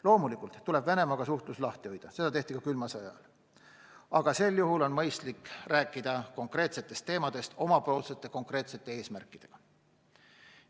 Loomulikult tuleb Venemaaga suhtlus lahti hoida, seda tehti ka külma sõja ajal, aga sel juhul on mõistlik rääkida konkreetsetest teemadest omapoolsete konkreetsete eesmärkidega.